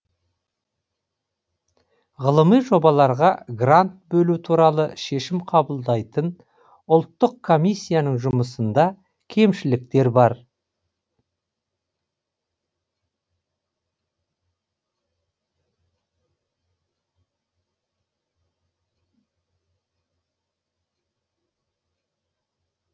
ғылыми жобаларға грант бөлу туралы шешім қабылдайтын ұлттық комиссияның жұмысында кемшіліктер бар